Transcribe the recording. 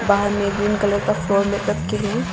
बाहर में green colour का फ्लोर में रखे हैं।